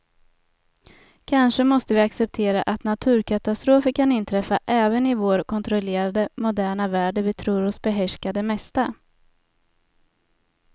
Kanske måste vi acceptera att naturkatastrofer kan inträffa även i vår kontrollerade, moderna värld där vi tror oss behärska det mesta.